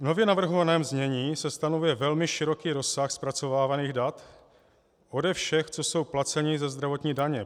V nově navrhovaném znění se stanovuje velmi široký rozsah zpracovávaných dat ode všech, co jsou placeni ze zdravotní daně.